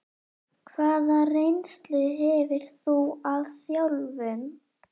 Hvaða reynslu hefur þú af þjálfun?